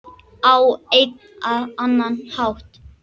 Á einn eða annan hátt.